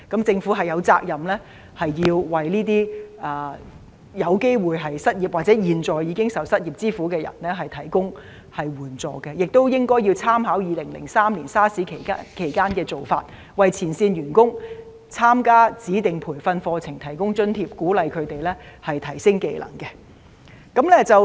政府有責任為那些有機會失業或現在已受失業之苦的人提供援助，亦應該參考2003年 SARS 期間的做法，為前線員工參加指定培訓課程提供津貼，鼓勵他們提升技能。